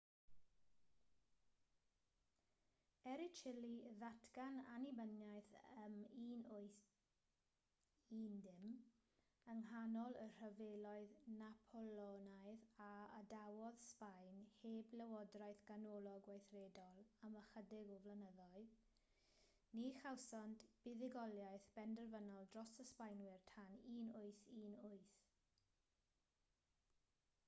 er i chile ddatgan annibyniaeth ym 1810 yng nghanol y rhyfeloedd napoleonaidd a adawodd sbaen heb lywodraeth ganolog weithredol am ychydig o flynyddoedd ni chawsant buddugoliaeth benderfynol dros y sbaenwyr tan 1818